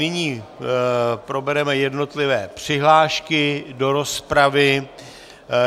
Nyní probereme jednotlivé přihlášky do rozpravy.